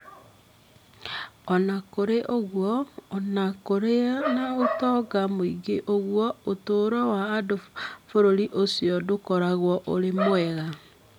O na kũrĩ ũguo, o na kũrĩ na ũtonga mũingĩ ũguo, ũtũũro wa andũ a bũrũri ũcio ndũkoragwo ũrĩ mwega.